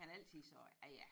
Han har altid sagt ja ja